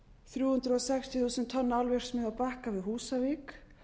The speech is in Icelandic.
þrjú hundruð sextíu tonna álverksmiðju á bakka við húsavík